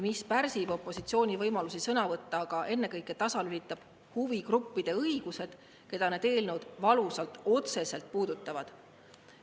See pärsib opositsiooni võimalusi sõna võtta, aga ennekõike tasalülitab huvigrupid, keda need eelnõud valusalt otseselt puudutavad.